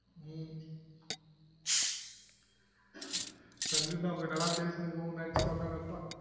உம் நல்லா பேசினுக்குறம் நெனைச்சுனு உக்காந்துனு இருப்பான்